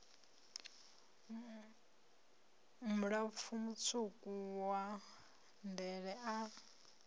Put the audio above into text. mulapfu mutswuku wa ndele a